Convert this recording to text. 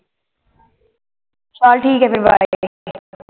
ਚੱਲ ਠੀਕ ਹੈ ਫੇਰ bye